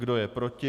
Kdo je proti?